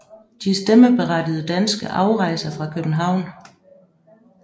De stemmeberettigede danske afrejser fra København